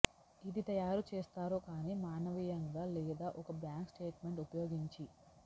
ఇది తయారు చేస్తారు గాని మానవీయంగా లేదా ఒక బ్యాంకు స్టేట్మెంట్ ఉపయోగించి